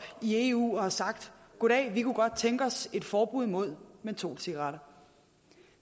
i eu og har sagt goddag vi kunne godt tænke os et forbud mod mentolcigaretter